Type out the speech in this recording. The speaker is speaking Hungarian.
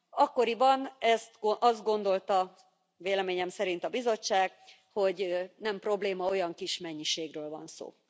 Akkoriban azt gondolta, véleményem szerint a Bizottság, hogy nem probléma, olyan kis mennyiségről van szó.